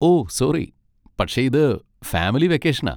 ഓ sorry, പക്ഷെ ഇത് family വെക്കേഷനാ.